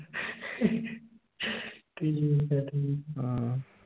ਠੀਕ ਆ ਠੀਕ।